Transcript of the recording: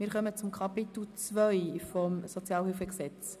Wir kommen zu Kapitel II. des SHG.